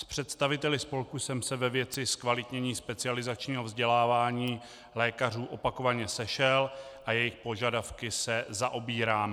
S představiteli spolku jsem se ve věci zkvalitnění specializačního vzdělávání lékařů opakovaně sešel a jejich požadavky se zaobírám.